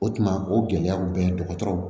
O tuma o gɛlɛyaw bɛ ye dɔgɔtɔrɔw